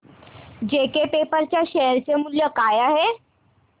JK Paper च्या share चे मूल्य काय आहे